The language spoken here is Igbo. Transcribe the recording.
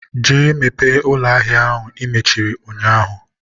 jee mepee ụlọ ahịa ahụ i mechiri ụnyaahụ.!